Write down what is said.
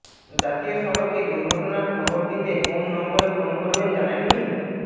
জাতীয় সড়কে দুর্ঘটনার খবর দিতে কোন নম্বরে ফোন করবেন জানেন কি